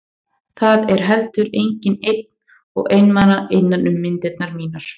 Það er heldur enginn einn og einmana innan um myndirnar mínar.